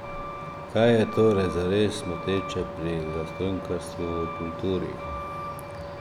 Kaj je torej zares moteče pri zastonjkarstvu v kulturi?